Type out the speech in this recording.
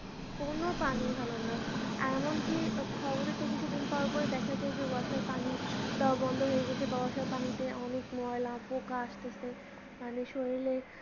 কোনো পানি ভালোনা এমনকি খবরে তো কিছুদিন পরপর দেখাচ্ছে যে washer পানি দেওয়া বন্ধ হয়ে গিয়েছে বা washer পানিতে অনেক ময়লা পোকা আসতেছে মানে শরীরে